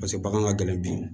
Paseke bagan ka gɛlɛn bi